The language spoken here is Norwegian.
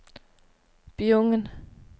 Bjugn